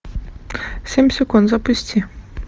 семь секунд запусти